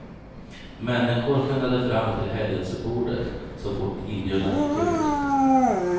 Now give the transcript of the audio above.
Människor skyndade fram till helgelsebordet, så fort inbjudan gick ut.